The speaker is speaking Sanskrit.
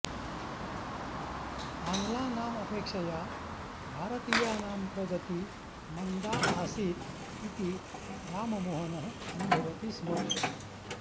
आङ्लानाम् अपेक्षया भारतीयानां प्रगति मन्दा आसीत् इति राममोहनः अनुभवति स्म